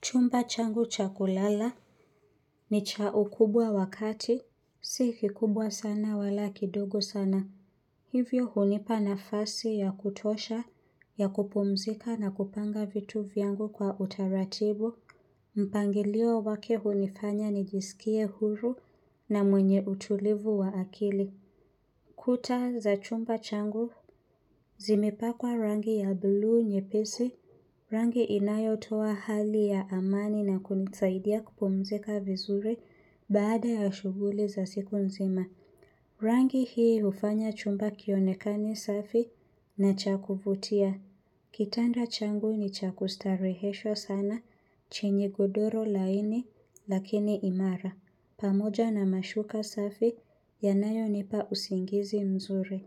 Chumba changu chakulala ni cha ukubwa wakati, si kikubwa sana wala kidogo sana. Hivyo hunipa nafasi ya kutosha, ya kupumzika na kupanga vitu vyangu kwa utaratibu. Mpangilio wake hunifanya nijisikie huru na mwenye utulivu wa akili. Kuta za chumba changu, zimepakwa rangi ya blu nyepesi. Rangi inayo toa hali ya amani na kunisaidia kupumzika vizuri baada ya shughuli za siku nzima. Rangi hii hufanya chumba kionekane safi na cha kuvutia. Kitanda changu ni cha kustarehesha sana chenye godoro laini lakini imara. Pamoja na mashuka safi yanayo nipa usingizi mzuri.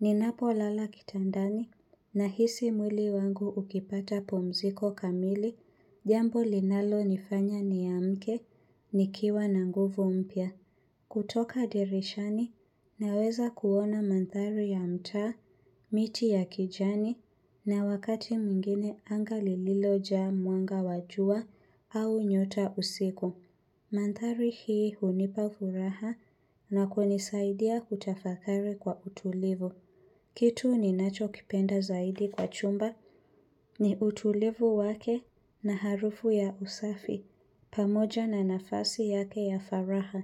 Ninapo lala kitandani nahisi mwili wangu ukipata pumziko kamili jambo linalo nifanya niamke nikiwa na nguvu mpya. Kutoka dirishani naweza kuona mandhari ya mtaa, miti ya kijani na wakati mwingine anga lililojaa mwanga wa jua au nyota usiku. Kitu ni nacho kipenda zaidi kwa chumba ni utulivu wake na harufu ya usafi, pamoja na nafasi yake ya faraha.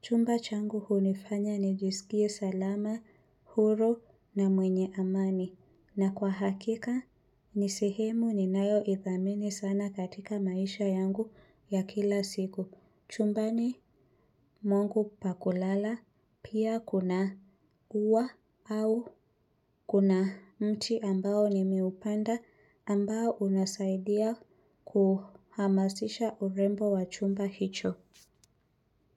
Chumba changu hunifanya nijisikie salama, huru na mwenye amani. Na kwa hakika, nisehemu ni nayo ithamini sana katika maisha yangu ya kila siku. Chumbani mwangu pakulala pia kuna ua au kuna mti ambao ni meupanda ambao unasaidia kuhamasisha urembo wa chumba hicho.